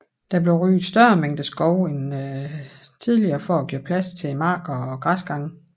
Der blev ryddet større mængder skov end tidligere for at gøre plads til marker og græsgange